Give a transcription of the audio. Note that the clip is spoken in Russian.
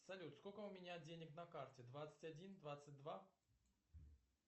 салют сколько у меня денег на карте двадцать один двадцать два